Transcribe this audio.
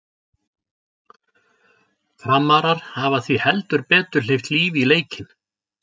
Framarar hafa því heldur betur hleypt lífi í leikinn!